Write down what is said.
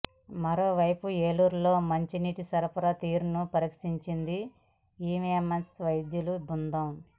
మరోవైపు ఏలూరులో మంచినీటి సరఫరా తీరును పరీక్షించింది ఎయిమ్స్ వైద్యుల బృందం